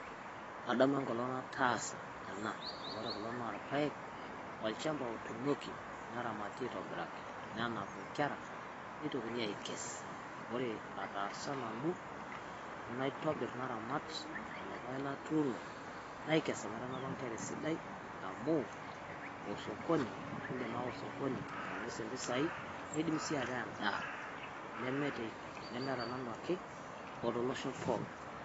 kadamu enkolong nataas ena ore kulo na ilpaek olchamba otunooki neramate aitobiraki nenap inkera nitokini akes ore ataasa nanu naitobir naramat lelo paek latuno naikes omaitanapa inkera esidai amu osokoni indim awa osokoni ainosie mpisai nindim sii ata endaa